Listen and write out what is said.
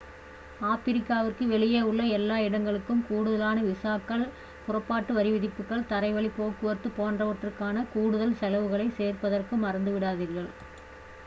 ஆப்பிரிக்காவிற்கு வெளியே உள்ள எல்லா இடங்களுக்கும் கூடுதலான விசாக்கள் புறப்பாட்டு வரிவிதிப்புகள் தரைவழிப் போக்குவரத்து போன்றவற்றுக்கான கூடுதல் செலவுகளைச் சேர்ப்பதற்கு மறந்துவிடாதீர்கள்